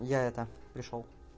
я это пришёл